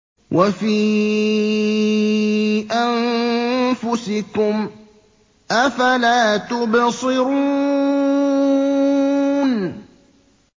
وَفِي أَنفُسِكُمْ ۚ أَفَلَا تُبْصِرُونَ